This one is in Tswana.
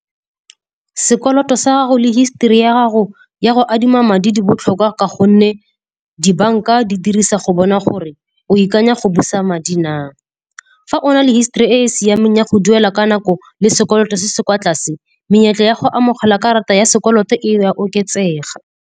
Sekoloto sa go le histori ya gago ya go adima madi di botlhokwa ka gonne dibanka di dirisa go bona gore o ikanya go busa madi na. Fa o na le histori e e siameng ya go duela ka nako le sekoloto se se kwa tlase, menyetla ya go amogela karata ya sekoloto e a oketsega.